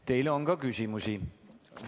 Teile on ka küsimusi.